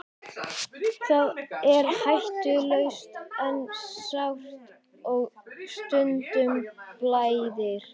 Það er hættulaust en sárt og stundum blæðir.